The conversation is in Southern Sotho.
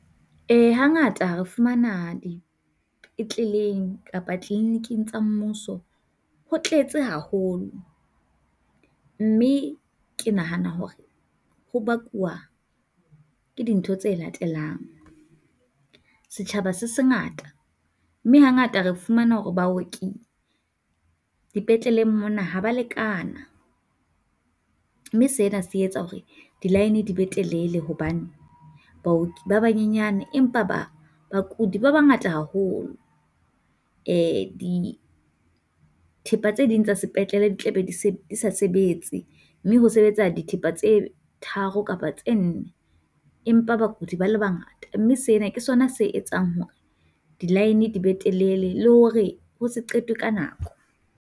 Eh hangata ha re fumana dipitleleng kapa clinic-ing tsa mmuso ho tletse haholo mme ke nahana hore ho bakwa ke dintho tse latelang. Setjhaba se sengata, mme hangata re fumana hore baoki dipetleleng mona ha ba lekana, mme sena se etsa hore di-line di be telele hobane baoki ba banyenyane empa ba bakudi ba bangata haholo. Eh dithepa tse ding tsa sepetlele di tlabe di sa sebetse, mme ho sebetsa dithepa tse tharo kapa tse nne. Empa bakudi ba le bangata, mme sena ke sona se etsang hore di-line di be telele la hore ho se qetwe ka nako.